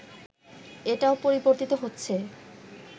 এটাও পরিবর্তিত হচ্ছে